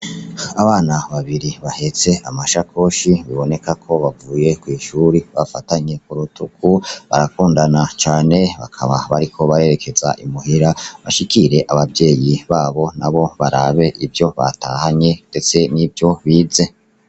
Abana babiri bahetse ama amashakoshi biboneka ko bavuye kw' ishure , bafatanye ku rutugu barakundana cane, bakaba bariko barerekeza i muhira bashikire abavyeyi babo nabo barabe ivyo batahanye ndetse nivyo bize.